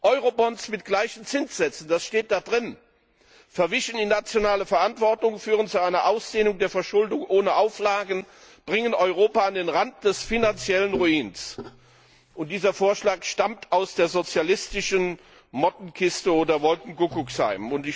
Eurobonds mit gleichen Zinssätzen das steht da drin verwischen die nationale Verantwortung, führen zu einer Ausdehnung der Verschuldung ohne Auflagen, bringen Europa an den Rand des finanziellen Ruins. Dieser Vorschlag stammt aus der sozialistischen Mottenkiste oder Wolkenkuckucksheim.